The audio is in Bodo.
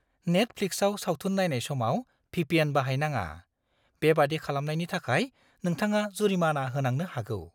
नेटफ्लिक्सआव सावथुन नायनाय समाव भिपिएन बाहायनाङा। बेबादि खालामनायनि थाखाय नोंथांङा जुरिमाना होनांनो हागौ।